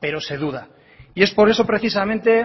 pero se duda y es por eso precisamente